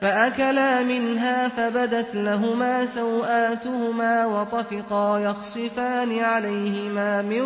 فَأَكَلَا مِنْهَا فَبَدَتْ لَهُمَا سَوْآتُهُمَا وَطَفِقَا يَخْصِفَانِ عَلَيْهِمَا مِن